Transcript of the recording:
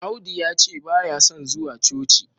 Audu yace baya son zuwa coci